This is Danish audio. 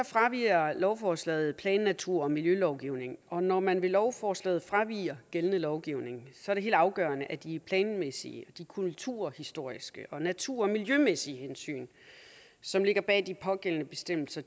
fraviger lovforslaget plan natur og miljølovgivningen og når man med lovforslaget fraviger gældende lovgivning er det helt afgørende at de planmæssige de kulturhistoriske og natur og miljømæssige hensyn som ligger bag de pågældende bestemmelser